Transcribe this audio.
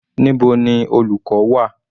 Níbo ni olùkọ́ wà?